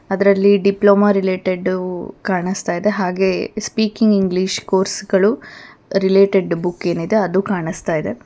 ಅದರಲ್ಲಿ ಡಿಪ್ಲೊಮಾ ರಿಲೆಟೆಡ್ಡವು ಕಾಣುಸ್ತಾಯಿದೆ ಹಾಗೆ ಸ್ಪೀಕಿಂಗ್ ಇಂಗ್ಲಿಷ್ ಕೋರ್ಸ್ಗಳು ರಿಲೆಟೆಡ್ ಬುಕ್ ಏನಿದೆ ಅದು ಕಾಣುಸ್ತಾಯಿದೆ.